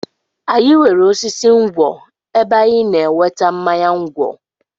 Anyị nwere osisi ngwọ̀ ebe anyị na-enweta mmanya ngwọ̀.